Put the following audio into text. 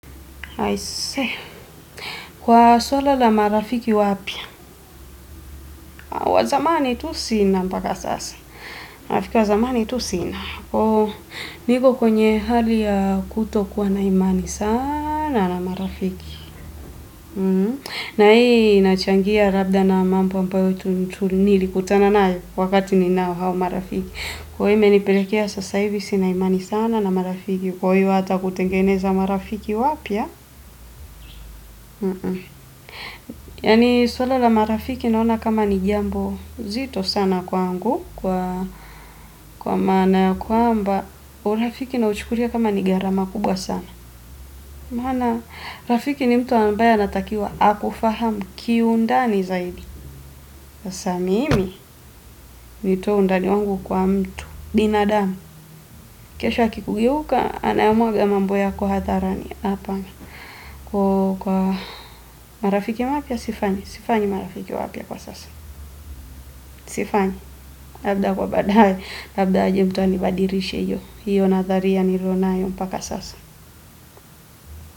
Aise, kwa swala la marafiki wapya, wa zamani tu sina mpaka sasa, marafiki wa zamani tu sina, niko kwenye hali ya kutokuwa na imani sana na marafiki, na hii inachangia labda na mambo ambayo tu nilikutana nayo wakati ninao hao marafiki, kwa hii imenipelekea sasa hivi sina imani sana na marafiki, kwa hiyo hata kutengeneza marafiki wapya, yaani swala la marafiki naona kama ni jambo zito kwangu kwa maana ya kwamba urafiki nauchukulia kama ni gharama kubwa sana maana rafiki ni mtu ambaye anatakiwa akufahamu kiundani zaidi sasa mimi nitoe undani wangu kwa mtu. Binadamu, kesho akikugeuka anayamwaga mambo yako hadharani hapana. Kwa hiyo kwa marafiki mapya sifanyi, sifanyi marafiki wapya kwa sasa sifanyi, labda kwa baadaye, labda aje mtu anibadilishe hiyo, hiyo nadharia nilionayo mpaka sasa.